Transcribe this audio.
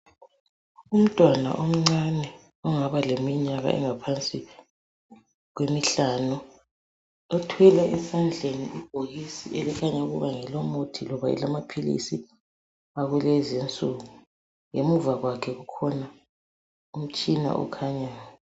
Umntwana omncane ongaba leminyaka engaba ngaphansi kwemihlanu uthwele esandleni ibhokisi elikhanya ukuba ngelomuthi loba elamaphilisi akulezinsuku ngemuva kwakho kukhona umtshina okhanyayo.